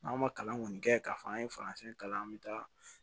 N'an ma kalan kɔni kɛ k'a fɔ an ye faransɛ kalan an bɛ taa